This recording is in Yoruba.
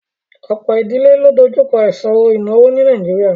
Ọ̀pọ̀ ìdílé ló ń dojú kọ ìṣòro ìnáwó ní Nàìjíríà